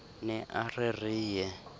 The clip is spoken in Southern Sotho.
ne a re re ye